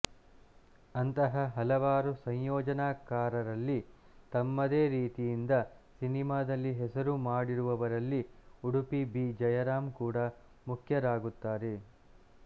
ಅಂತಹ ಹಲವಾರು ಸಂಯೋಜನಾ ಕಾರರಲ್ಲಿ ತಮ್ಮದೇ ರೀತಿಯಿಂದ ಸಿನಿಮಾದಲ್ಲಿ ಹೆಸರು ಮಾಡಿರುವಲರಲ್ಲಿ ಉಡುಪಿ ಬಿ ಜಯರಾಂ ಕೂಡ ಮುಖ್ಯರಾಗುತ್ತಾರೆ